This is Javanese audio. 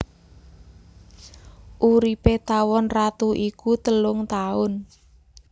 Uripé tawon ratu iku telung taun